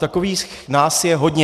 Takových nás je hodně.